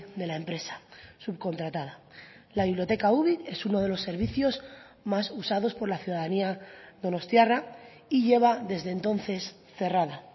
de la empresa subcontratada la biblioteca ubik es uno de los servicios más usados por la ciudadanía donostiarra y lleva desde entonces cerrada